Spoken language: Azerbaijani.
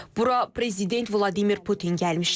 Bura prezident Vladimir Putin gəlmişdi.